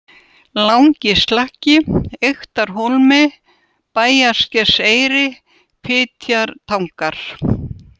Langi-Slakki, Eyktarhólmi, Bæjarskerseyri, Fitjatangar